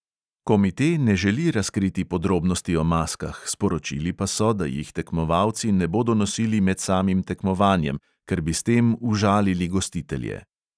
Komite ne želi razkriti podrobnosti o maskah, sporočili pa so, da jih tekmovalci ne bodo nosili med samim tekmovanjem, ker bi s tem užalili gostitelje.